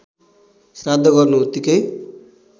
श्राद्ध गर्नु उतिकै